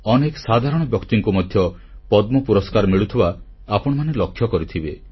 ଅନେକ ସାଧାରଣ ବ୍ୟକ୍ତିଙ୍କୁ ମଧ୍ୟ ପଦ୍ମ ପୁରସ୍କାର ମିଳୁଥିବା ଆପଣମାନେ ଲକ୍ଷ୍ୟ କରିଥିବେ